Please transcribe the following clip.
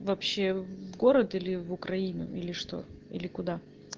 вообще в город или в украину или что или куда